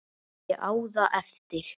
Ég á það eftir.